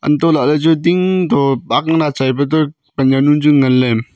antoh lahley chu ding toh aak lal achai pe toh pan jawnu chu ngan ley.